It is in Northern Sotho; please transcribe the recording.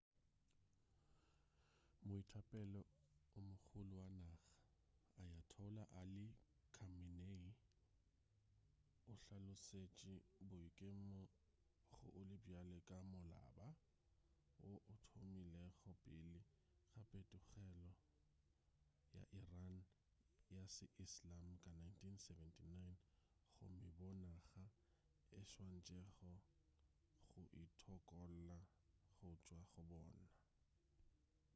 moetapele o mogolo wa naga ayatollah ali khamenei o hlalosetše boikemo go ole bjale ka molaba wo o thomilego pele ga phetogelo ya iran ya se-islam ka 1979 gomme boo naga e swanetšego go itokolla go tšwa go bona